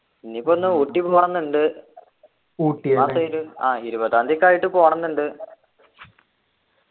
ഇനിയിപ്പോ എന്നാ ഊട്ടിക്ക് പോണംന്നുണ്ട് ആഹ് ഇരുപതാന്തി ഒക്കെ ആയിട്ട് പോണംന്നുണ്ട്